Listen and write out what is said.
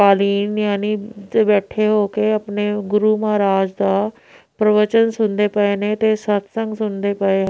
ਬੈਠੇ ਹੋ ਕੇ ਆਪਣੇ ਗੁਰੂ ਮਹਾਰਾਜ ਦਾ ਪਰਵਚਨ ਸੁਣਦੇ ਪਏ ਨੇ ਤੇ ਸਾਧ ਸੰਗਤ ਸੁਣਦੇ ਪਏ--